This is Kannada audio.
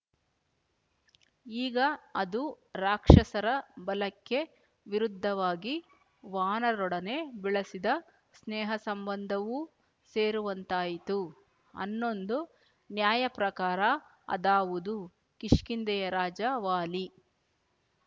ಈಗ ಅದು ರಾಕ್ಷಸರ ಬಲಕ್ಕೆ ವಿರುದ್ಧವಾಗಿ ವಾನರರೊಡನೆ ಬೆಳಸಿದ ಸ್ನೇಹಸಂಬಂಧವೂ ಸೇರುವಂತಾಯಿತು ಹನ್ನೊಂದು ನ್ಯಾಯ ಪ್ರಕಾರ ಅದಾವುದು ಕಿಷ್ಕಿಂಧೆಯ ರಾಜ ವಾಲಿ